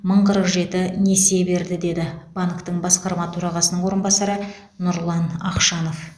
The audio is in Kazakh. мың қырық жеті несие берді деді банктің басқарма төрағасының орынбасары нұрлан ақшанов